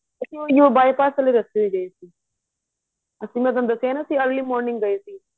ਅਸੀਂ ਉਹੀ ਹੋ by pass ਆਲੇ ਰਸਤੇ ਤੋ ਗਏ ਸੀ ਅਸੀਂ ਮੈਂ ਤੁਹਾਨੂੰ ਦੱਸਿਆ ਨਾ ਅਸੀਂ early morning ਗਏ ਸੀ